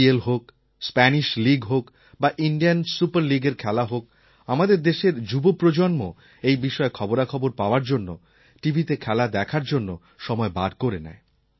EPL হোক Spanish league হোক বা ইণ্ডিয়ান সুপার লীগএর খেলা হোক আমাদের দেশের যুব প্রজন্ম এই বিষয়ে খবরাখবর পাওয়ার জন্য টিভিতে খেলা দেখার জন্য সময় বার করে নেয়